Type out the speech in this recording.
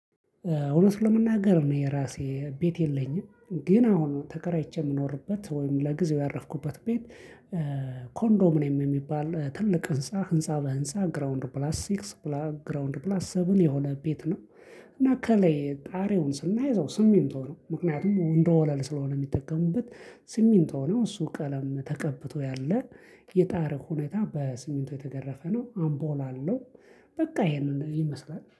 እውነት ለመናገር እኔ የራሴ ቤት የለኝም። ግን አሁን ተከራይቼ የምኖርበት ወይም ለጊዜው ያረፍኩበት ቤት። ኮንዶሚኔም የሚባል ትልቅ ህንፃ ህንፃ በህንፃ ግራውንድ ፕላስ ሲክስ ግራውንድ ኘላስ ሰበን የሆነ ቤት ነው። እና ከላይ ጣሪውን ስናይ ስሜት ነው ምክንያቱም እንደ ወለል ስለሆነ የሚጠቀሙበት ስሚንት ነው እሱ ቀለም ተቀብቶ ያለ የጣሪያው ሁኔታ በስሚንት የተገረፈ ነው። አምፖል አለው። በቃ ይሄንን ይመስላል